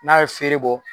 N'a ye feere bɔ